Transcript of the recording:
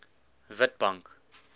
witbank